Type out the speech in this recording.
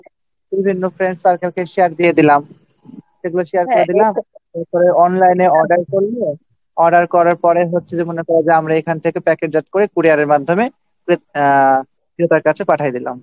বিভিন্ন friends circle-কে share দিয়ে দিলাম এগুলো share দিয়ে দিলাম এগুলো করে online-এ order করল order করার পর হচ্ছে যে আমরা এখান থেকে packet-জাত করে couries-র মাধ্যমে আহ ক্রেতার কাছে পাঠাইয়া দিলাম